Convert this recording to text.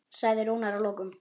sagði Rúnar að lokum.